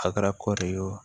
A kɛra kɔɔri ye o